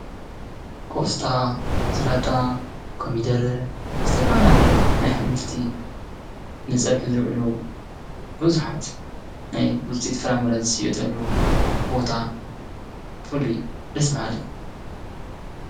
ቆስጣ፣ ስላጣ፣ ኮሚደረ፣ ዝተፈላለዩ ናይ ኣሕምልቲ ንፀብሒ ዝውዕሉ ቡዙሓት ናይ ዉፅኢት ፍራምረ ዝሽየጠሉ ቦታ ፍሉይ ደስ በሃሊ::